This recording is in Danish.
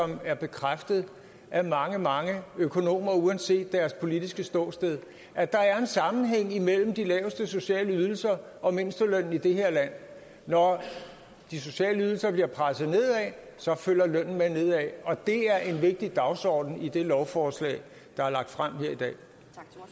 det er bekræftet af mange mange økonomer uanset deres politiske ståsted at der er en sammenhæng mellem de laveste sociale ydelser og mindstelønnen i det her land når de sociale ydelser bliver presset ned så følger lønnen med ned og det er en vigtig dagsorden i det lovforslag der er lagt frem